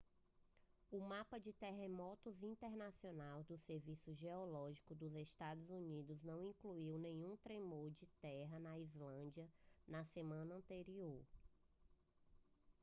o mapa de terremotos internacional do serviço geológico dos estados unidos não indicou nenhum tremor de terra na islândia na semana anterior